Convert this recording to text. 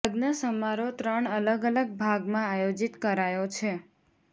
લગ્ન સમારોહ ત્રણ અલગ અલગ ભાગમાં આયોજિત કરાયો છે